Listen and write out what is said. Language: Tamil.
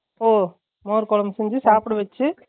ஒ மோர் கொழம்பு செய்ஞ்சு சாப்பட வெச்சு